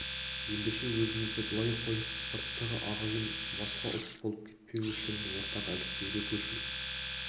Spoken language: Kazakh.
ендеше өзімізді былай қойып сырттағы ағайын басқа ұлт болып кетпеуі үшін ортақ әліпбиге көшу